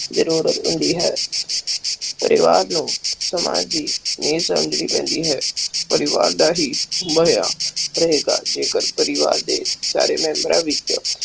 ਜਰੂਰਤ ਹੁੰਦੀ ਹੈ ਪਰਿਵਾਰ ਨੂੰ ਸਮਾਜ ਦੀ ਨੀਵ ਸਮਝਣੀ ਪੈਂਦੀ ਹੈ ਪਰਿਵਾਰ ਦਾ ਹੀ ਪ੍ਰਹੇਤਾ ਜੇਕਰ ਪਰਿਵਾਰ ਦੇ ਸਾਰੇ ਮੇਮ੍ਬਰਾਂ ਵਿਚ